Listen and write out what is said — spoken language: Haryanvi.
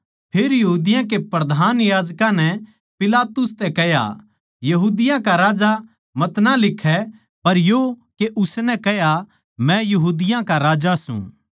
फेर यहूदियाँ के प्रधान याजकां नै पिलातुस तै कह्या यहूदियाँ का राजा मतना लिखै पर यो के उसनै कह्या मै यहूदियाँ का राजा सूं